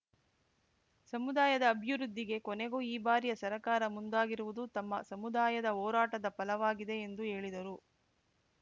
ಸಮುದಾಯದ ಅಭಿವೃದ್ಧಿಗೆ ಕೊನೆಗೂ ಈ ಬಾರಿಯ ಸರಕಾರ ಮುಂದಾಗಿರುವುದು ತಮ್ಮ ಸಮುದಾಯದ ಹೋರಾಟದ ಪಲವಾಗಿದೆ ಎಂದು ಹೇಳಿದರು